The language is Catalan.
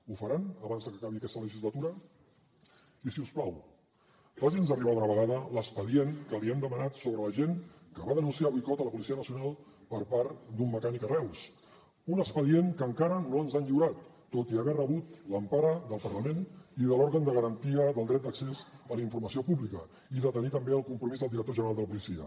ho faran abans de que acabi aquesta legislatura i si us plau faci’ns arribar d’una vegada l’expedient que li hem demanat sobre l’agent que va denunciar el boicot a la policia nacional per part d’un mecànic a reus un expedient que encara no ens han lliurat tot i haver rebut l’empara del parlament i de l’òrgan de garantia del dret d’accés a la informació pública i de tenir també el compromís del director general de la policia